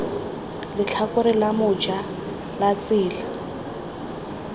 letlhakore la moja la tsela